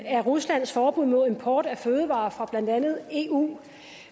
af ruslands forbud mod import af fødevarer fra blandt andet eu